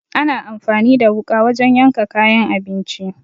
Ana anfani da wuƙa wajen yanka kayan abinci.